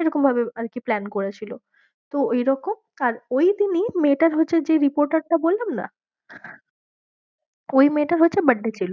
এরকমভাবে আর কি plan করেছিল তো ঐরকম আর ওই দিনই মেয়েটার হচ্ছে যে reporter টা বললাম না ওই মেয়েটার হচ্ছে birthday ছিল,